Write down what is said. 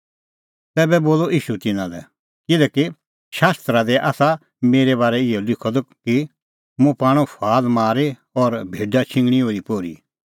तैबै बोलअ ईशू तिन्नां लै तम्हैं ठुहर्नै सोभ मुंह छ़ाडी किल्हैकि शास्त्रा दी आसा मेरै बारै इहअ लिखअ द कि मुंह पाणअ फुआल मारी और भेडा छिंघणीं ओरीपोरी